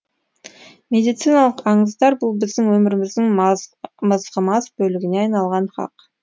медициналық аңыздар бұл біздің өміріміздің мызғымас бөлігіне айналғаны хақ